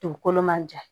Dugukolo man jan